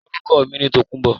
Orúkọ mi ni Tòkunbọ̀